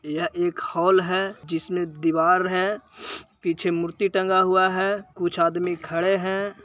यह एक होल है। जिसमें दिवार है। पीछे मूर्ति टंगा हुआ है। कुछ आदमी खड़े है।